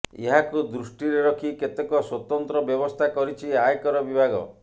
ଏହାକୁ ଦୃଷ୍ଟିରେ ରଖି କେତେକ ସ୍ୱତନ୍ତ୍ର ବ୍ୟବସ୍ଥା କରିଛି ଆୟକର ବିଭାଗ